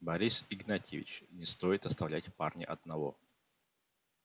борис игнатьевич не стоит оставлять парня одного